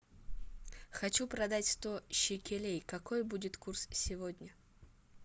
хочу продать сто шекелей какой будет курс сегодня